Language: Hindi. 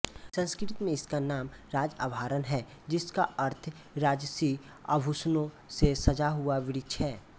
संस्कृत में इसका नाम राजआभरण है जिसका अर्थ राजसी आभूषणों से सजा हुआ वृक्ष है